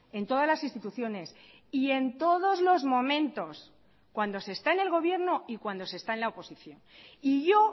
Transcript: en todas las instituciones y en todos los momentos cuando se está en el gobierno y cuando se está en la oposición y yo